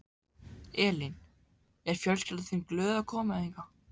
Elín: Er fjölskyldan þín glöð að koma hingað?